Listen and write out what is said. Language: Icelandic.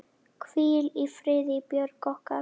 Hvíl í friði, Björg okkar.